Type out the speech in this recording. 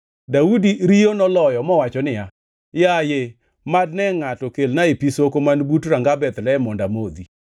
Daudi riyo noloyo mowacho niya, “Yaye, mad ne ngʼato kelnae pi soko man but ranga Bethlehem mondo amodhi!”